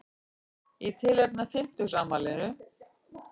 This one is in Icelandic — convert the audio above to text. Í tilefni af fimmtugsafmælinu